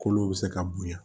Kolo bɛ se ka bonya